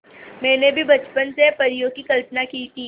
मैंने भी बचपन से परियों की कल्पना की थी